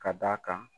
Ka d'a kan